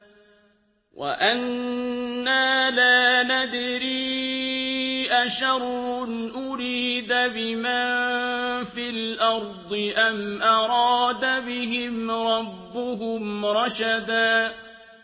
وَأَنَّا لَا نَدْرِي أَشَرٌّ أُرِيدَ بِمَن فِي الْأَرْضِ أَمْ أَرَادَ بِهِمْ رَبُّهُمْ رَشَدًا